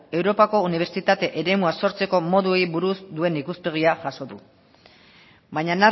europako unibertsitate eremua sortzeko moduei buruz duen ikuspegia jaso du baina